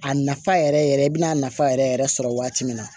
A nafa yɛrɛ yɛrɛ yɛrɛ i bɛna nafa yɛrɛ yɛrɛ yɛrɛ sɔrɔ waati min na